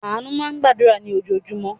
Àánú máa ń gbàdúrà ní ojoojúmọ́.